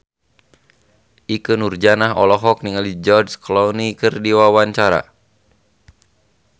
Ikke Nurjanah olohok ningali George Clooney keur diwawancara